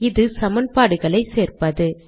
இது சமன்பாடுகளை சேர்ப்பது